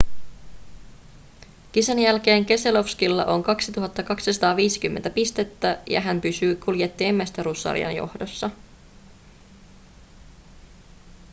kisan jälkeen keselowskilla on 2 250 pistettä ja hän pysyy kuljettajien mestaruussarjan johdossa